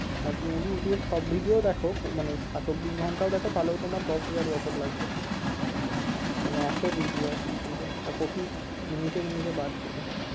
আর তুমি যদি ইউটুবে সব video ও দেখো মানে চব্বিশ ঘন্টাও দেখো তাহলেও তোমার দশ হাজার বছর লাগবে মানে এত video আছে ইউটুবে, আর প্রতি মিনিটে মিনিটে বাড়ছে সেটা